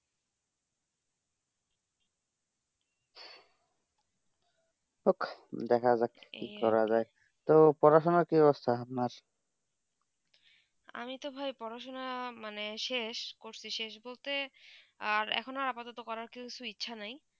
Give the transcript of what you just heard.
দেখা যাক কি করা জাযায়ে তো পড়া সোনা কি অবস্থা আপনার আমি তো ভাই পড়া সোনা মানে শেষ করতেছি এখন আপাদত করা কিছু ইচ্ছা নেই